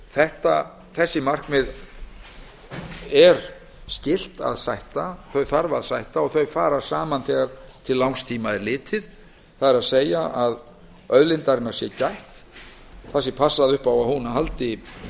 hann þessi markmið er skylt að sætta og þau fara saman þegar til langs tíma er litið það er að auðlindarinnar sé gætt það sé passað upp á að hún haldi verðmæti sínu